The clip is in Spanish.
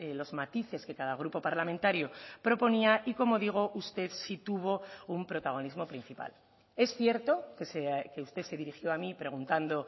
los matices que cada grupo parlamentario proponía y como digo usted sí tuvo un protagonismo principal es cierto que usted se dirigió a mí preguntando